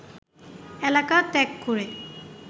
এলাকা ত্যাগ করে